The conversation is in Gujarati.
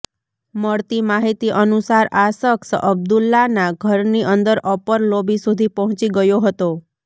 મળતી માહિતી અનુસાર આ શખ્સ અબ્દુલ્લાના ઘરની અંદર અપર લોબી સુધી પહોંચી ગયો હતો